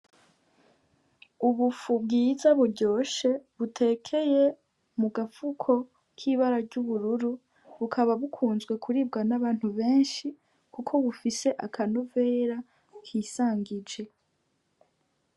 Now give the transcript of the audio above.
Ubufu bwiza buryoshe, butekeye mu gafuko k'ibara ry'ubururu, bukaba bukunzwe kuribwa n'abantu benshi kuko bufise akanovera bwisangije.